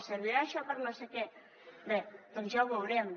servirà això per a no sé què bé doncs ja ho veurem